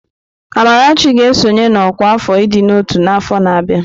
Amarachi ga-esonye na ọkwá afọ ịdị n'ọtú n'afọ na-abịa.